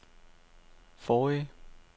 forrige